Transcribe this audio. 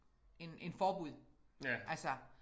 End end forbud altså